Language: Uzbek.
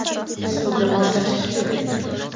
), suvga moslashish kerak.